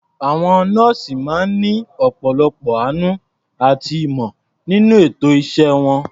Àwọn nọ́ọ̀sì máa ń ní ọ̀pọ̀lọpọ̀ àánú àti ìmọ̀ nínú ètò iṣẹ́ wọn.